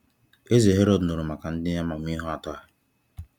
Eze Herod nụrụ maka ndị amamihe atọ a.